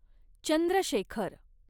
Chandrashekhar